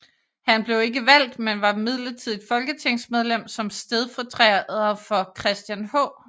Han blev ikke valgt men var midlertidigt folketingsmedlem som stedfortræder for Christian H